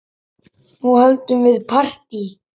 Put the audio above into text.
Nú höldum við partí!